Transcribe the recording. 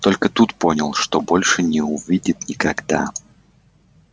только тут понял что больше не увидит никогда